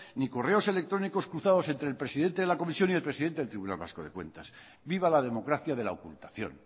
ni correos electrónicos cruzados entre el presidente de la comisión y el presidente del tribunal vasco de cuentas viva la democracia de la ocultación